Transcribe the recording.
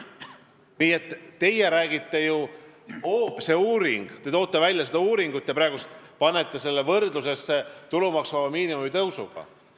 Nii et teie toote välja selle uuringu ja panete selle praegu võrdlusesse tulumaksuvaba miinimumi tõusuga.